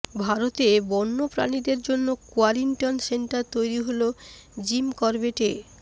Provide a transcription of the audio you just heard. ভারতে বন্যপ্রাণীদের জন্য কোয়ারেন্টিন সেন্টার তৈরি হল জিম করবেটে